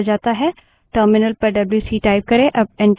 terminal window पर W C wc type करें